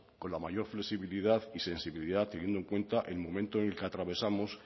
con la mayor flexibilidad y sensibilidad teniendo en cuenta el momento que atravesamos